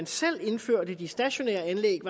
selv indførte de stationære anlæg